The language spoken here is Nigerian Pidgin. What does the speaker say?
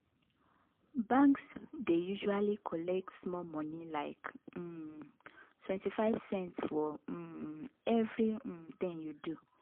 banks dey usually collect small money like um 25 cents for um every um tin you do